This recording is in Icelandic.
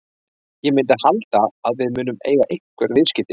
Ég myndi halda að við munum eiga einhver viðskipti.